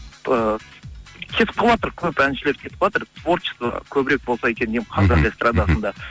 ыыы кетіп қалыватыр көп әншілер кетіп қалыватыр творчество көбірек болса екен деймін қазақ эстрадасында